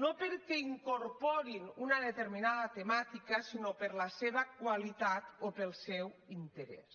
no perquè incorporin una determinada temàtica sinó per la seva qualitat o pel seu interès